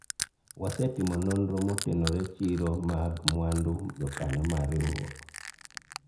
wasetimo nonro motenore chiro mag mwandu jokanyo mar riwruok